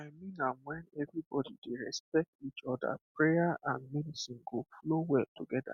i mean am when everybody dey respect each other prayer and medicine go flow well together